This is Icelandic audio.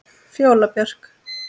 Fjóla Björk.